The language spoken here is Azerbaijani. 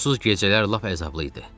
Yuxusuz gecələr lap əzablı idi.